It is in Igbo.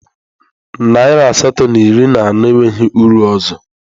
Naịra asatọ na iri na anọ enweghị uru ọzọ